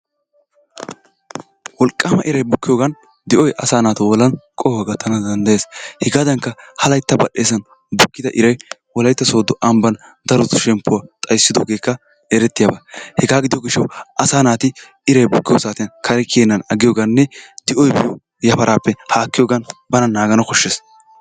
Wolqaama iray bukkiyoogan di"oy asaa naatu bollan qohuwa gattana dandayes. Hegaadankka ha layitta badheesan bukkida iray wolayitta sooddo amban darotu shemppuwa xayissidoogeekka erettiyaaba. Hegaa gido gishshawu asaa naati iray bukkiyo saatiyan kare kiyennan aggiyoganne di"oy epiyo yafaraappe haakiyoogan bana naagana koshshes.